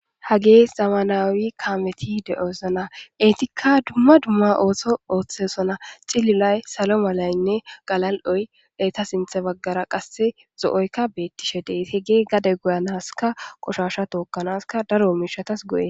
hagee zamanawi kaameti de7osana etikka dumma dumma ooso ooththesona cililay salo malaynne galal7oy eta sinthe baggara qasse zo7oykka beettishe dey hegee gade goyanaska qoshasha tookkanaska daro miishatas go7e